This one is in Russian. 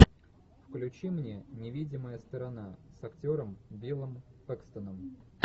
включи мне невидимая сторона с актером биллом пэкстоном